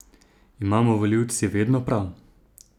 Imamo volilci vedno prav?